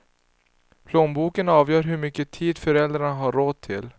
Plånboken avgör hur mycket tid föräldrarna har råd till.